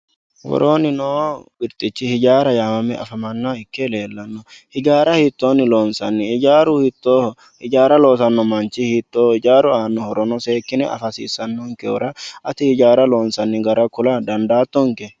worooni noo birxichi ijaara yee afamannoha ikkereena ijaara hiitooni lonsanni ijaaru hitooho ijaara loosanno manchi hitooho ijaaru aano horono seekine afa hasiissanonkehura ati ijaara loonsanni gara kula dandaatonke